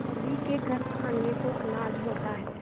सभी के घर खाने को अनाज होता है